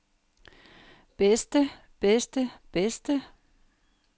bedste bedste bedste